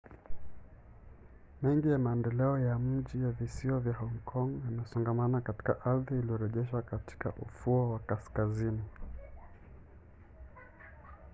mengi ya maendeleo ya mji ya visiwa vya hong kong yamesongamana katika ardhi iliyorejeshwa katika ufuo wa kaskazini